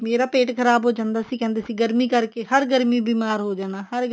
ਮੇਰਾ ਪੇਟ ਖ਼ਰਾਬ ਹੋ ਜਾਂਦਾ ਸੀ ਕਹਿੰਦੇ ਸੀ ਗਰਮੀ ਕਰਕੇ ਹਰ ਗਰਮੀ ਬੀਮਾਰ ਹੋ ਜਾਣਾ ਹਰ ਗਰਮੀ